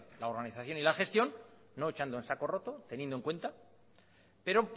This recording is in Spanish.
la organización y la gestión no echando en saco roto teniendo en cuenta pero